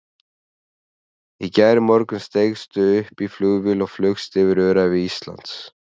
Í gærmorgun steigstu upp í flugvél og flaugst yfir öræfi landsins.